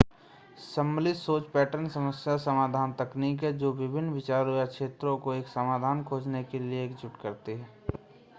सम्मिलित सोच पैटर्न समस्या समाधान तकनीक है जो विभिन्न विचारों या क्षेत्रों को एक समाधान खोजने के लिए एकजुट करती है